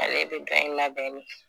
Ale be dɔ in labɛn ne